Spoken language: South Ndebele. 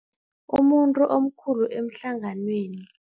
Umuntu omkhulu ehlanganweni.